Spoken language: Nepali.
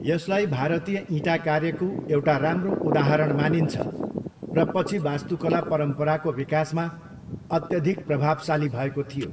यसलाई भारतीय इँटा कार्यको एउटा राम्रो उदाहरण मानिन्छ र पछि वास्तुकला परम्पराको विकासमा अत्यधिक प्रभावशाली भएको थियो।